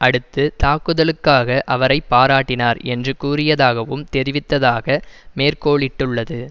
அடுத்து தாக்குதலுக்காக அவரை பாராட்டினார் என்று கூறியதாகவும் தெரிவித்ததாக மேற்கோளிட்டுள்ளது